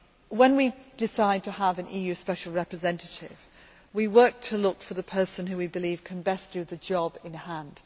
When we decide to have an EU Special Representative, we look for the person whom we believe can best do the job in hand.